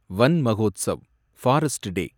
வன் Mahotsav, forest டே